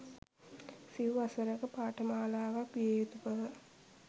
සිව් වසරක පාඨමාලාවක් විය යුතු බව